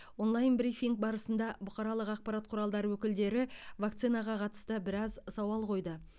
онлайн брифинг барысында бұқаралық ақпарат құралдары өкілдері вакцинаға қатысты біраз сауал қойды